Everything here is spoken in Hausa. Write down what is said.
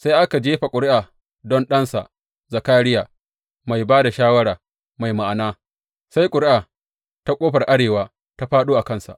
Sai aka jefa ƙuri’u don ɗansa Zakariya, mai ba da shawara mai ma’ana, sai ƙuri’a ta ƙofar arewa ta fāɗo a kansa.